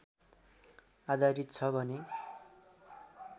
आधारित छ भने